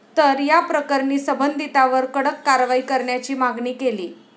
तर याप्रकरणी संबंधितांवर कडक कारवाई करण्याची मागणी केली.